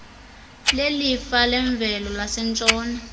lelifa lemvelo lasentshona